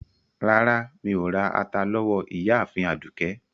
Rárá, Mí o rà àtà lówó Ìyààfin Àdúkẹ.